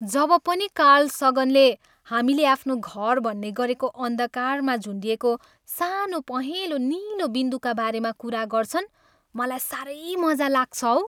जब पनि कार्ल सगनले हामीले आफ्नो घर भन्ने गरेको अन्धकारमा झुन्डिएको सानो पहेँलो निलो बिन्दुका बारेमा कुरा गर्छन्, मलाई साह्रै मजा लाग्छ हौ।